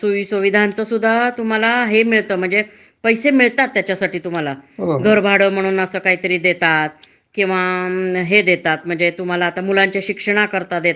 आणि तुमच म्हणजे रिटायरमेंट नंतर तुम्हाला काय असत? हे आपला निवृत्ती वेतन असत. म्हणजे त्याच्यात सेकुर्ड हे असत बऱ्यापैकी जे तुमच हे आहे